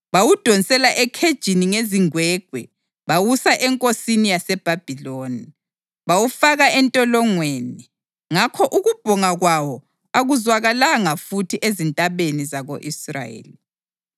Bawudonsela ekhejini ngezingwegwe bawusa enkosini yaseBhabhiloni. Bawufaka entolongweni, ngakho ukubhonga kwawo akuzwakalanga futhi ezintabeni zako-Israyeli.